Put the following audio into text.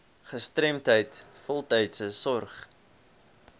gestremdheid voltydse sorg